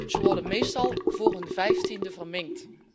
Ze worden meestal voor hun 15e verminkt.